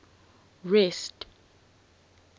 rest